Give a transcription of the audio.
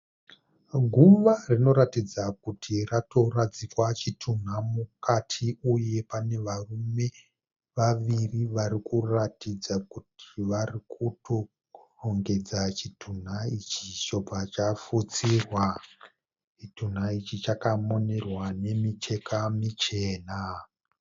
Guva rinoratidza kuti ratoradzikwa chitunha mukati. Uye pane varume vaviri varikuratidza kuti vari kutorongedza chitunha ichi chobva chafutsirwa. Chitunha ichi chakamonerwa nemicheka michena.